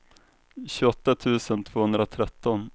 tjugoåtta tusen tvåhundratretton